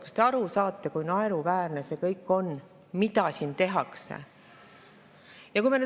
Kas te saate aru, kui naeruväärne on see kõik, mida siin tehakse?